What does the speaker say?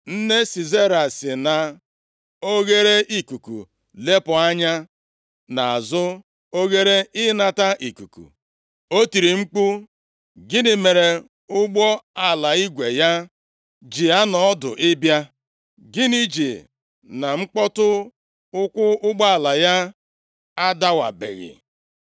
“Nne Sisera si na oghereikuku lepụ anya nʼazụ oghere ịnata ikuku, o tiri mkpu, ‘Gịnị mere ụgbọala igwe ya ji anọ ọdụ ịbịa? Gịnị ji na mkpọtụ ụkwụ ụgbọala ya adawabeghị?’